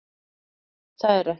Það er ekki